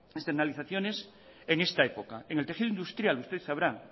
externalizaciones en esta época en le tejido industrial usted sabrá